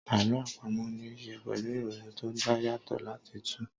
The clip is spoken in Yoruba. Àlọ́ àpamọ́ ní ṣe pẹ̀lú ìrònú tó dá yàtọ̀ láti túu